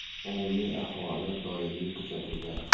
Umumiy ahvoli doimiy kuzatuvda.